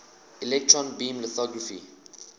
electron beam lithography